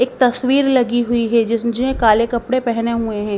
एक तस्वीर लगी हुई है जिसने काले कपड़े पहने हुए हैं।